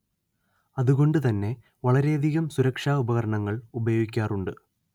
അതുകൊണ്ട് തന്നെ വളരെയധികം സുരക്ഷ ഉപകരണങ്ങൾ ഉപയോഗിക്കാറുണ്ട്